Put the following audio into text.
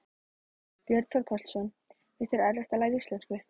Björn Þorláksson: Finnst þér erfitt að læra íslensku?